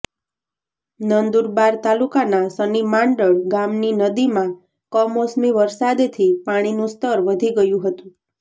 નંદુરબાર તાલુકાના શનિમાંડળ ગામની નદીમાં કમોસમી વરસાદથી પાણીનું સ્તર વધી ગયું હતું